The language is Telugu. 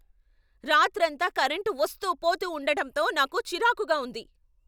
రాత్రంతా కరెంటు వస్తూ, పోతూ ఉండడంతో నాకు చిరాకుగా ఉంది.